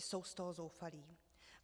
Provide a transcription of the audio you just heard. Jsou z toho zoufalí.